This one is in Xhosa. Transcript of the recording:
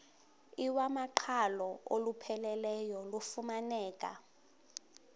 iwamaqhalo olupheleleyo lufumaneka